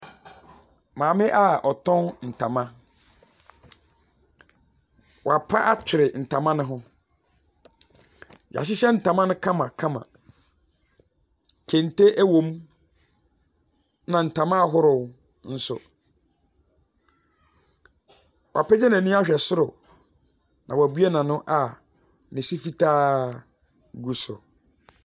Maame a ɔtɔn ntoma. Wapa atwere ntama no ho. Wɔahyehyɛ ntoma no kamakama. Kente wom, ɛnna ntoma ahorow nso. Wapagya n'ani ahwɛ soro na wabue n'ano a ne se fitaa gu so.